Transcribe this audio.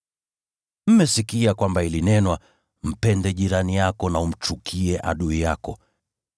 “Mmesikia kwamba ilinenwa, ‘Mpende jirani yako na umchukie adui yako.’